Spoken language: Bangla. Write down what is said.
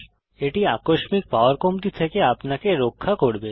এটি আকস্মিক পাওয়ার কমতি থেকে আপনাকে রক্ষা করবে